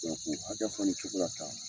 Cɛn ko a kɛ fɔ nin cogo la tan.